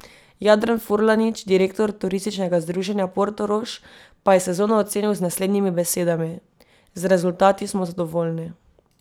Jadran Furlanič, direktor Turističnega združenja Portorož pa je sezono ocenil z naslednjimi besedami: "Z rezultati smo zadovoljni.